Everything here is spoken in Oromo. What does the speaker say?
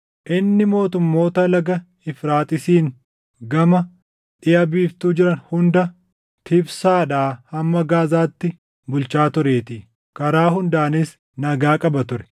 Inni mootummoota Laga Efraaxiisiin gama dhiʼa biiftuu jiran hunda, Tifsaadhaa hamma Gaazaatti bulchaa tureetii; karaa hundaanis nagaa qaba ture.